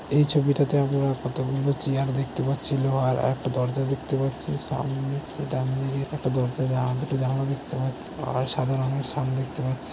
এই ছবিটাতে আমরা কতোগুলো চেয়ার দেখতে পাচ্ছি লোহার আর একটা দরজা দেখতে পাচ্ছি সামনে সে ডান দিকে একটা দরজা আ দুটো জানালা দেখতে পাচ্ছি আর সাদা রঙের সান পাচ্ছি।